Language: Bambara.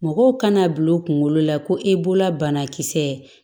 Mɔgɔw kana bila u kunkolo la ko e bolola banakisɛ